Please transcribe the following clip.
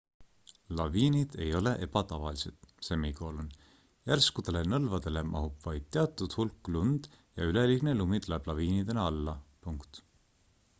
laviinid ei ole ebatavalised järskudele nõlvadele mahub vaid teatud hulk lund ja üleliigne lumi tuleb laviinidena alla